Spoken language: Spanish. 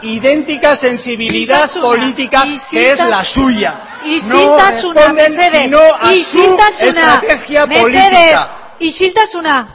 idéntica sensibilidad política es la suya berbotsa isiltasuna no responden sino a su estrategia política berbotsa